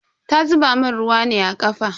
Ta zuba mun ruwa ne a kafa.